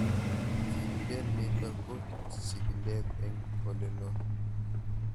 Kikilen nitok ko chig'ilet eng' oleloo